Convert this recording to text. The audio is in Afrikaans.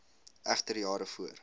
egter jare voor